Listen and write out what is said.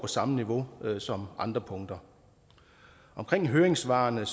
samme niveau som andre punkter omkring høringssvarene